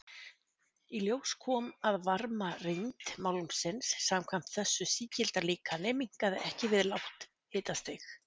Í ljós kom að varmarýmd málmsins samkvæmt þessu sígilda líkani minnkaði ekki við lágt hitastig.